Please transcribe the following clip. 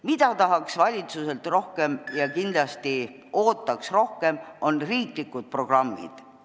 Mida tahaks valitsuselt rohkem ja kindlasti ootaks rohkem, need on riiklikud programmid.